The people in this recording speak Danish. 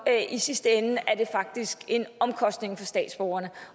i sidste ende er det faktisk en omkostning for statsborgerne